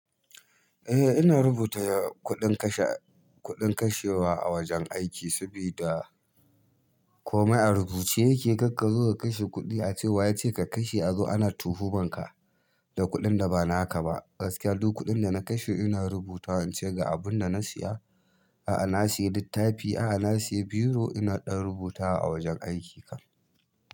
Eh ina rubuta kuɗin kashe kuɗin kashewa a wajen aiki sabida komai a rubuce yake. Karka zo ka kashe kuɗi ace wa yace ka kashe a zo ana tuhu manka da kuɗin da ba naka ba. Gaskiya duk kuɗin da na kashe ina rubuta in ce ga abun da na siya, a'a na siya littafi, a'a na siya biro. Ina ɗon rubutawa a wajen aiki kam.